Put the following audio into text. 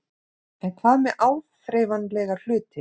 En hvað með áþreifanlega hluti?